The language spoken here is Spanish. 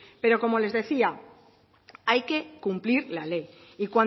pero como les decía hay que cumplir la ley y